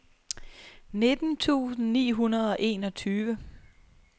nitten tusind ni hundrede og enogtyve